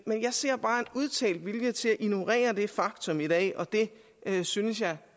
men jeg ser bare en udtalt vilje til at ignorere det faktum i dag og det synes jeg